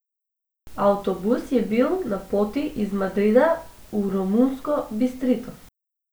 Avtobus je bil na poti iz Madrida v romunsko Bistrito.